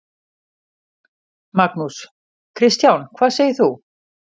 Magnús: Kristján, hvað segir þú?